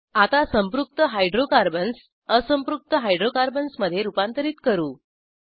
आता संपृक्त हायड्रोकार्बन्स असंपृक्त हायड्रोकार्बन्समधे रूपांतरित करू